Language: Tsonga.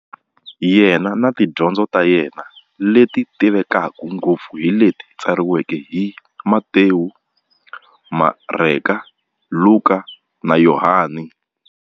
Yena na tidyondzo ta yena, leti tivekaka ngopfu hi leti tsariweke hi, Matewu, Mareka, Luka, na Yohani.